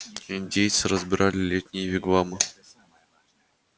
индейцы разбирали летние вигвамы